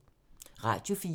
Radio 4